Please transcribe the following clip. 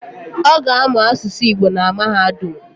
Oga amuu asusu Igbo na mahadum